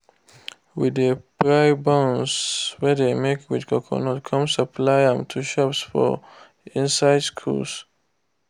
we de fry buns wey dey make with coconut come supply am to shops for inside schools.